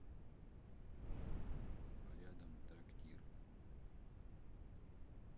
рядом трактир